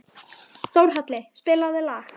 Þórhalli, spilaðu lag.